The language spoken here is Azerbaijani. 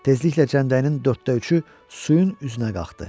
Tezliklə cənbəyinin dörddə üçü suyun üzünə qalxdı.